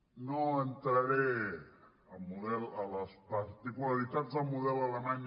no entraré a les particularitats del model alemany